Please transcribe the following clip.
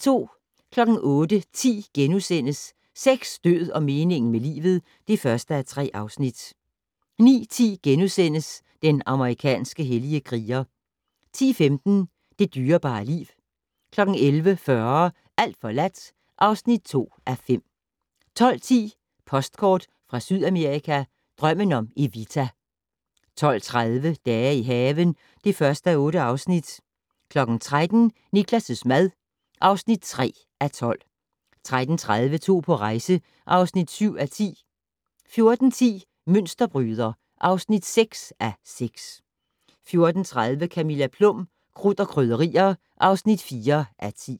08:10: Sex, død og meningen med livet (1:3)* 09:10: Den amerikanske hellige kriger * 10:15: Det dyrebare liv 11:40: Alt forladt (2:5) 12:10: Postkort fra Sydamerika: Drømmen om Evita 12:30: Dage i haven (1:8) 13:00: Niklas' mad (3:12) 13:30: To på rejse (7:10) 14:10: Mønsterbryder (6:6) 14:30: Camilla Plum - Krudt og Krydderier (4:10)